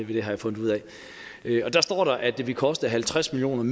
det har jeg fundet ud af der står der at det mindst vil koste halvtreds million